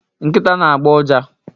Nkita na agbọ ụja